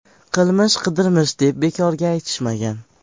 Qilmish qidirmish deb bekorga aytishmagan.